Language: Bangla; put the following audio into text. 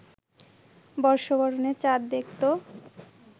বর্ষবরণের চাঁদ দেখত